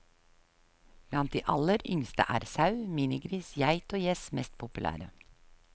Blant de aller yngste er sau, minigris, geit og gjess mest populære.